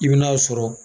I bɛn'a sɔrɔ